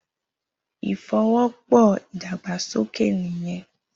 Ifówòpò idàgbásóké niyèn